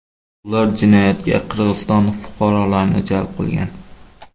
Ular jinoyatga Qirg‘iziston fuqarolarini jalb qilgan.